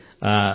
అవును సర్